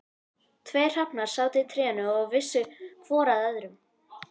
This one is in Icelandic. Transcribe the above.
Tveir hrafnar sátu í trénu og vissu hvor að öðrum.